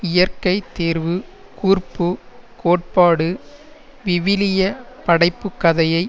இயற்கை தேர்வு கூர்ப்பு கோட்பாடு விவிலிய படைப்புக் கதையை